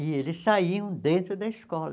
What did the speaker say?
E eles saíam dentro da escola.